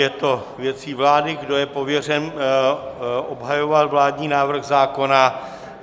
Je to věcí vlády, kdo je pověřen obhajovat vládní návrh zákona.